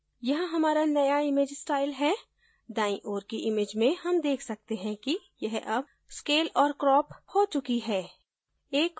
यहाँ हमारा नया image style है दाईं ओर की image में हम देख सकते हैं कि यह अब scaled और क्रोप हो चुकी है